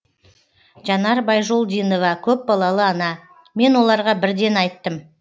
жанар байжолдинова көпбалалы ана мен оларға бірден айттым